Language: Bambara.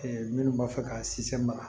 minnu b'a fɛ ka si maga